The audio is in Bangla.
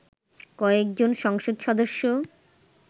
কয়েকজন সংসদ সদস্য